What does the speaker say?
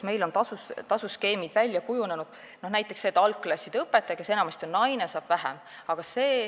Meil on tasuskeemid välja kujunenud, näiteks algklasside õpetaja, kes enamasti on naine, saab vähem palka.